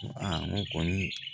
n ko kɔni